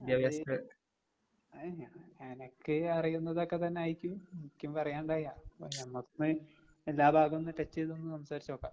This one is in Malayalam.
അത് അത് ഞാൻ അനക്ക് അറിയുന്നതൊക്കെ തന്നായിരിക്കും എനിക്കും പറയാന്ണ്ടാവാ. അപ്പ നമക്ക് എല്ലാ ഭാഗോന്ന് ടച്ച് ചെയ്തൊന്ന് സംസാരിച്ച് നോക്കാം.